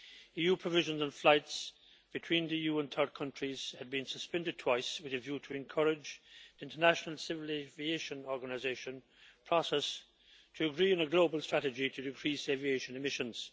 EU provisions on flights between the EU and third countries have been suspended twice with a view to encouraging the International Civil Aviation Organization process to agree on a global strategy to decrease aviation emissions.